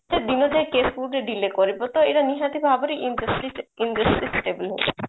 ଦିନ ଯାଏ case କୁ ଗୋଟେ delay କରିବ ତ ଏଇଟା ନିହାତି ଭାବରେ injustice injustice